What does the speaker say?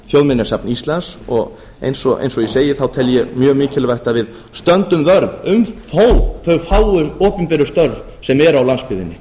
þjóðminjasafn íslands og eins og ég segi tel ég mjög mikilvægt að við stöndum vörð um þó þau fáu opinberu störf sem eru á landsbyggðinni